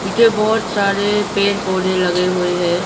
जो बहुत सारे पेड़ पौधे लगे हुए हैं।